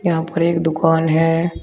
यहां पर एक दुकान है।